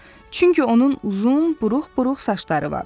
Çünki onun uzun, buruq-buruq saçları var.